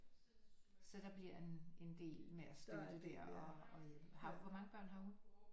Så der bliver en en del med at støtte der og hvor mange børn har hun